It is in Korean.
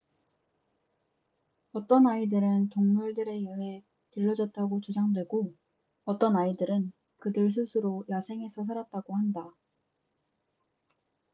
어떤 아이들은 동물들에 의해 길러졌다고 주장되고 어떤 아이들은 그들 스스로 야생에서 살았다고 한다